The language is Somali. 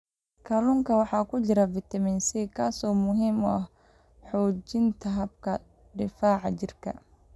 Kalluunka waxaa ku jira fitamiin C, kaas oo muhiim u ah xoojinta habka difaaca jirka.